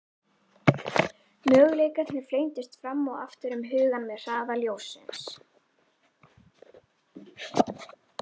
Möguleikarnir flengdust fram og aftur um hugann með hraða ljóssins.